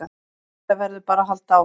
Þetta verður bara að halda áfram